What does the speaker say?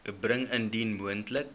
bring indien moontlik